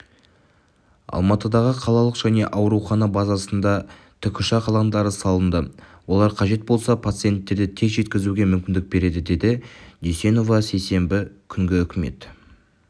алматыдағы қалалық және аурухана базасында тікұшақ алаңдары салынды олар қажет болса пациенттерді тез жеткізуге мүмкіндік береді деді дүйсенова сейсенбі күнгі үкімет